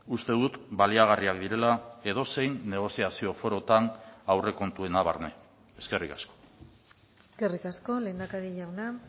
uste dut baliagarriak direla edozein negoziazio forotan aurrekontuena barne eskerrik asko eskerrik asko lehendakari jauna